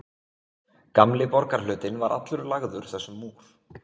Gamli borgarhlutinn var allur lagður þessum múr.